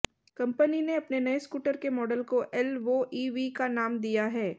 company ने अपने नये स्कूटर के मॉडल को एलवोईवी का नाम दिया है